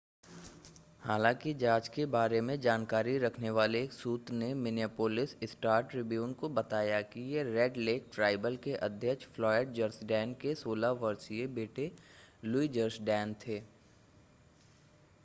हालांकि जांच के बारे में जानकारी रखने वाले एक सूत्र ने मिनियापोलिस स्टार-ट्रिब्यून को बताया कि ये रेड लेक ट्राइबल के अध्यक्ष फ़्लॉयड जर्सडैन के 16 वर्षीय बेटे लुई जर्सडैन थे